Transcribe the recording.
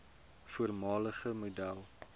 voormalige model